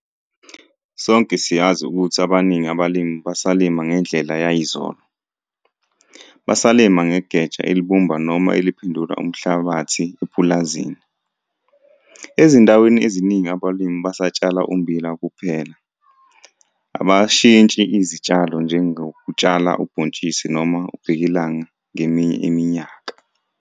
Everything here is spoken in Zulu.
Sonke siyazi ukuthi abaningi abalimi basalima ngendlela yayizolo, basalima ngegeja elibumba noma eliphendula umhlabathi epulazini. Ezindaweni eziningi abalimi basatshala ummbila kuphela, abashintshi izitshalo njengokutshala ubhontshisi noma ubhekilanga ngeminye iminyaka.